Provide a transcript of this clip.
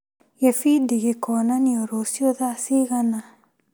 Gĩbindi gĩkonanio rũciũ thaa cigana?